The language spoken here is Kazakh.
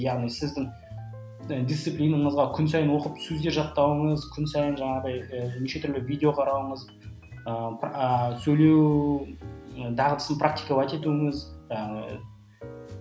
яғни сіздің і дисциплинаңызға күн сайын оқып сөздер жаттауыңыз күн сайын жаңағыдай ы неше түрлі видео қарауыңыз ыыы сөйлеу дағдысын практиковать етуіңіз